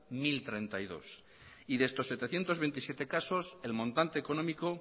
mil treinta y dos y de estos setecientos veintisiete el montante económico